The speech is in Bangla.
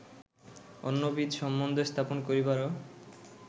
অন্যবিধ সম্বন্ধ স্থাপন করিবারও